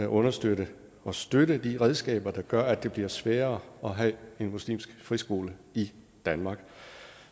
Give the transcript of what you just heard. understøtte og støtte de redskaber der gør at det bliver sværere at have en muslimsk friskole i danmark